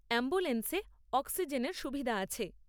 অ্যাম্বুলেন্সে অক্সিজেনের সুবিধা আছে।